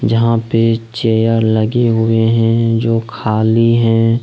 जहां पे चेयर लगे हुए हैं जो खाली हैं।